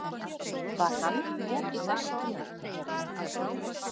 Var hann með í þessu?